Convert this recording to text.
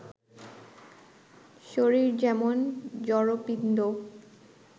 শরীর যেমন জড়পিণ্ড